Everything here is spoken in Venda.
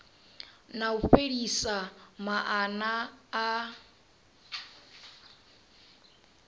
na u fhelisa maana a